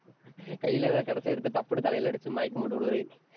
கையிலே ஏதாவது கடைசி எடுத்து, டப்புன்னு தலையிலே அடிச்சு, மயக்கம் போட்டு விழுகவை.